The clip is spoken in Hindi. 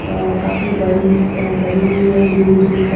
अ काफी बड़ी अ बनी हुई है दूर-दूर तक--